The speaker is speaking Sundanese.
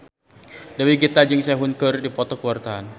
Dewi Gita jeung Sehun keur dipoto ku wartawan